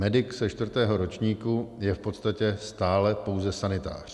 Medik ze čtvrtého ročníku je v podstatě stále pouze sanitář.